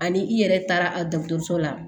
Ani i yɛrɛ taara a dɔgɔtɔrɔso la